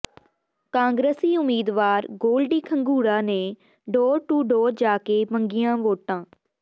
ਕਾਂਗਰਸੀ ਉਮੀਦਵਾਰ ਗੋਲਡੀ ਖੰਗੂੜਾ ਨੇ ਡੋਰ ਟੂ ਡੋਰ ਜਾ ਕੇ ਮੰਗੀਆਂ ਵੋਟਾਂ